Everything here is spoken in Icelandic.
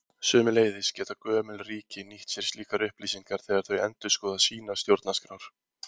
Sömuleiðis geta gömul ríki nýtt sér slíkar upplýsingar þegar þau endurskoða sínar stjórnarskrár.